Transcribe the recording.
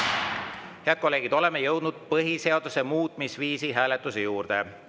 Head kolleegid, oleme jõudnud põhiseaduse muutmisviisi hääletuse juurde.